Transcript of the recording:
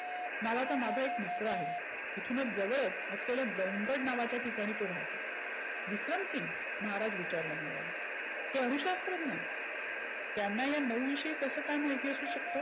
नावाचा माझा एक मित्र आहे. इथुनच जवळच असलेल्या जमगड नावाच्या ठिकाणी तो राहतो. विक्रमसिंग महाराज विचारत मग्न झाले. ते अणु शास्त्रज्ञ? त्यांना या नऊ विषयी कसं महिती असू शकतं?